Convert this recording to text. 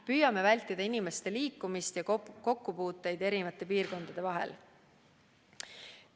Püüame vältida inimeste liikumist ja kokkupuuteid erinevate piirkondade vahel.